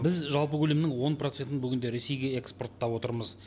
біз жалпы көлемнің он процентін бүгінде ресейге экспорттап отырмыз